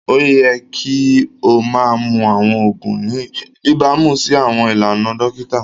Oyẹ̀ kì o mà mún awọn oogun ní ìbàmú sí awọn ilànà dokita